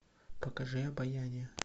покажи обаяние